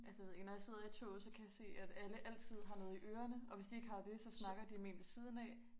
Altså jeg ved ikke når jeg sidder i toget så kan jeg se at alle altid har noget i ørene og hvis de ikke har det så snakker de med en ved siden af